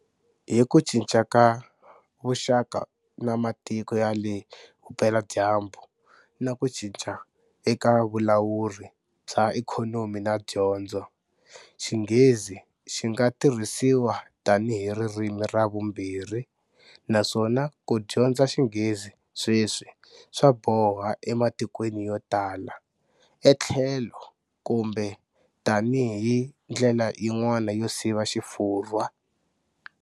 Hi ku cinca ka vuxaka na matiko ya le Vupeladyambu na ku cinca eka vulawuri bya ikhonomi na dyondzo, Xinghezi xi nga tirhisiwa tanihi ririmi ra vumbirhi naswona ku dyondza Xinghezi sweswi swa boha ematikweni yo tala etlhelo kumbe tanihi ndlela yin'wana yo siva Xifurwa.